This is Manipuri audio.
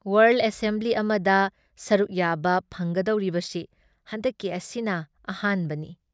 ꯋꯥꯥꯔꯜꯗ ꯑꯦꯁꯦꯝꯕꯤ ꯑꯃꯗ ꯁꯔꯨꯛ ꯌꯥꯕ ꯐꯪꯒꯗꯧꯔꯤꯕꯁꯤ ꯍꯟꯗꯛꯀꯤ ꯑꯁꯤꯅ ꯑꯍꯥꯟꯕꯅꯤ ꯫